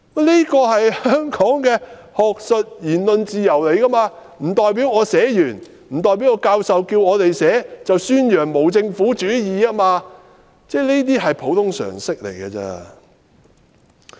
這是香港的學術言論自由，教授要求我們寫這樣的論文，不代表宣揚無政府主義，這是普通常識。